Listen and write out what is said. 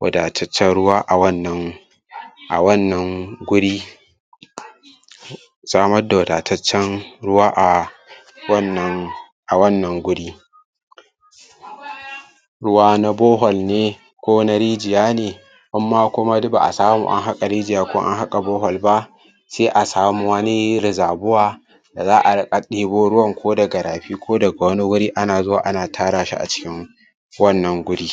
wadataccen ruwa a wannan a wannan guri um samad wadataccen ruwa a wannan a wannan guri ruwa na borhole ne ko na rijiya ne inma kuma duk ba'a samu an haƙa rijiya ko an haƙa borehole ba sai a samu wani reservoir da za'a riƙa ɗebo ruwan ko daga rafi ko daga wani guri ana zuwa ana tara shi a cikin wannan guri